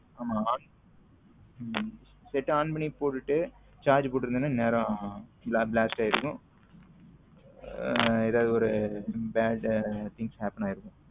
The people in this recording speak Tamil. ஆமா on net on பண்ணி போட்டுட்டு charge போட்டு இருந்தேன்னா இந்நேரம் blast ஆயிருக்கும ஏதாவது ஒரு bad things happen ஆகிருக்கும்.